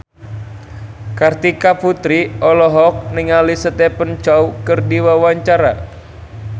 Kartika Putri olohok ningali Stephen Chow keur diwawancara